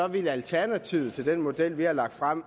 vil alternativet til den model vi har lagt frem